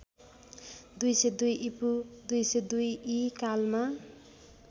२०२ ईपू २२० ई कालमा